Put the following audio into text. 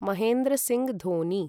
महेन्द्र सिङ्ग् धोनि